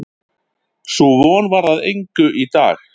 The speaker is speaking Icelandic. Sú von varð að engu í dag.